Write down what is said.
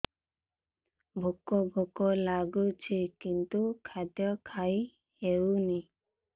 ଭୋକ ଭୋକ ଲାଗୁଛି କିନ୍ତୁ ଖାଦ୍ୟ ଖାଇ ହେଉନି